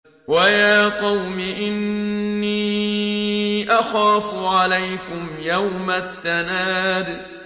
وَيَا قَوْمِ إِنِّي أَخَافُ عَلَيْكُمْ يَوْمَ التَّنَادِ